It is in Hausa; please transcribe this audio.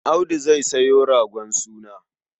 Audu zai sayo ragon suna.